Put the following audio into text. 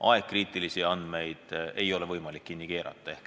Ajakriitilisi andmeid ei ole võimalik kinni keerata.